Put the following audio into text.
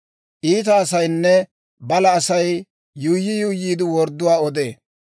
Iita asaynne balaa asay, yuuyyi yuuyyiide wordduwaa odee;